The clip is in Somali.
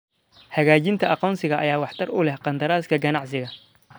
Xaqiijinta aqoonsiga ayaa waxtar u leh qandaraaska ganacsiga.